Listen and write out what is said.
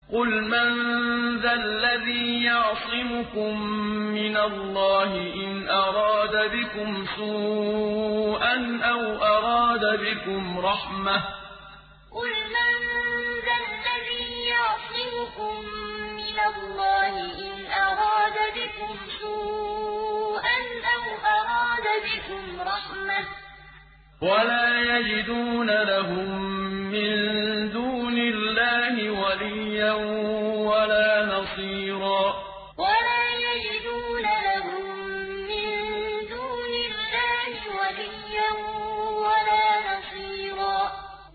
قُلْ مَن ذَا الَّذِي يَعْصِمُكُم مِّنَ اللَّهِ إِنْ أَرَادَ بِكُمْ سُوءًا أَوْ أَرَادَ بِكُمْ رَحْمَةً ۚ وَلَا يَجِدُونَ لَهُم مِّن دُونِ اللَّهِ وَلِيًّا وَلَا نَصِيرًا قُلْ مَن ذَا الَّذِي يَعْصِمُكُم مِّنَ اللَّهِ إِنْ أَرَادَ بِكُمْ سُوءًا أَوْ أَرَادَ بِكُمْ رَحْمَةً ۚ وَلَا يَجِدُونَ لَهُم مِّن دُونِ اللَّهِ وَلِيًّا وَلَا نَصِيرًا